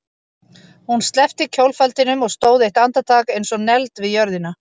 Hún sleppti kjólfaldinum og stóð eitt andartak eins og negld við jörðina.